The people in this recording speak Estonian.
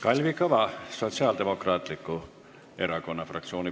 Kalvi Kõva, Sotsiaaldemokraatliku Erakonna fraktsioon.